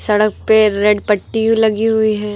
सड़क पे रेड पट्टी लगी हुई है।